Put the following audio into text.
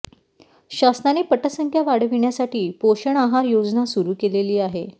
शासनाने पटसंख्या वाढविण्यासाठी पोषण आहार योजना सुरू केलेली आहे